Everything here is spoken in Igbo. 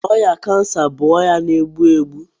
Ọrịa kansa bụ ọrịa na-egbu egbu.